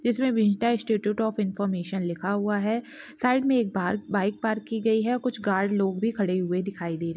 इसमे Vidya institute of information लिखा हुआ हैं साइड मे एक बाहर बाइक पार्क की गई है कुछ गार्ड लोग भी खड़े हुए दिखाई दे रहे है।